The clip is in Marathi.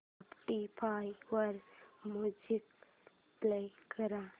स्पॉटीफाय वर म्युझिक प्ले कर